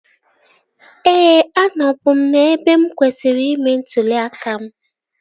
Ee, anọ bu m n'ebe mụ kwesịrị ime ntụli aka m